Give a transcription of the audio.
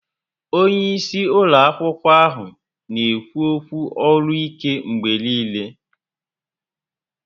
Onye isi ụlọ akwụkwọ ahụ n'ekwu ókwú olu ike mgbe niile